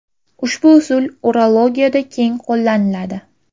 Ushbu usul urologiyada keng qo‘llaniladi.